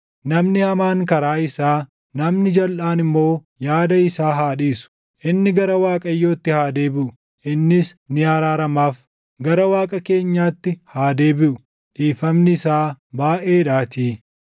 Namni hamaan karaa isaa, namni jalʼaan immoo yaada isaa haa dhiisu. Inni gara Waaqayyootti haa deebiʼu; innis ni araaramaaf; gara Waaqa keenyaatti haa deebiʼu; dhiifamni isaa baayʼeedhaatii.